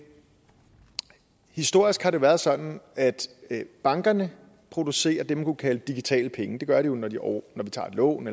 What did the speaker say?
historisk har det været sådan at bankerne producerer det man kunne kalde digitale penge det gør de jo når vi tager et lån